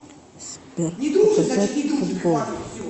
сбер показать футбол